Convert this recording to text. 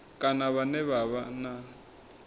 kana vhane vha vha na